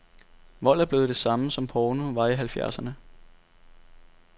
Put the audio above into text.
Vold er blevet det samme som porno var i halvfjerdserne.